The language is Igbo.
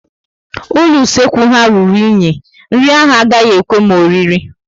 Ụlọ usekwu ha rụrụ enyi, nri ahụ agaghị ekwe m oriri